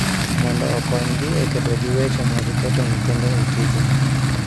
Mondo okonygi e kedo gi weche mag keto nyithindo e tije